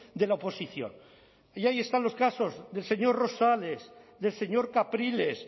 de la oposición y ahí están los casos del señor rosales del señor capriles